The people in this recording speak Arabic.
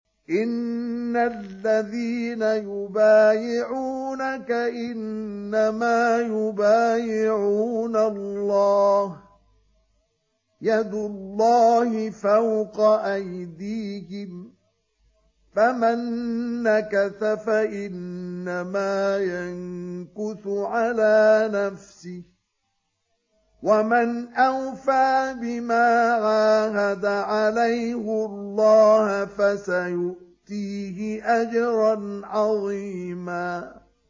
إِنَّ الَّذِينَ يُبَايِعُونَكَ إِنَّمَا يُبَايِعُونَ اللَّهَ يَدُ اللَّهِ فَوْقَ أَيْدِيهِمْ ۚ فَمَن نَّكَثَ فَإِنَّمَا يَنكُثُ عَلَىٰ نَفْسِهِ ۖ وَمَنْ أَوْفَىٰ بِمَا عَاهَدَ عَلَيْهُ اللَّهَ فَسَيُؤْتِيهِ أَجْرًا عَظِيمًا